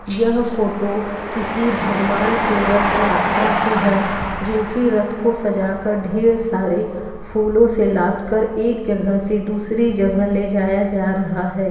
यह फोटो किसी भगवान के रेथ यात्रा की है जिनकी रथ को सजा कर ढेर सारे फूलो से लादकर एक जगह से दूसरी जगह ले जा रहा है।